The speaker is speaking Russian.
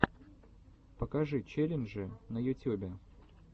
покажи челленджи на ютюбе